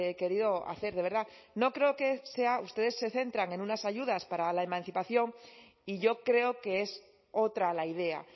querido hacer de verdad no creo que sea ustedes se centran en unas ayudas para la emancipación y yo creo que es otra la idea